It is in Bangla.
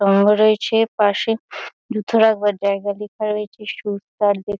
স্তম্ভ রয়েছে পাশে। জুতো রাখবার জায়গা লেখা রয়েছে। Shoes per day --